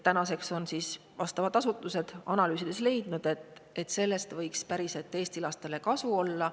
Tänaseks on vastavad asutused analüüsides leidnud, et sellest võiks päriselt Eesti lastele kasu olla.